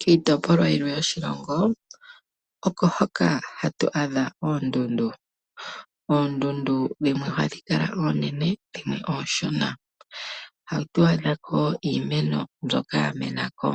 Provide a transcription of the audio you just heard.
Kiitopolwa yilwe yoshilongo oko hoka ha twaadha oondundu ,oondundu dhimwe ohadhi kala oonene dhimwe ooshona, ohatu adhako iimeno mbyoka yamenako,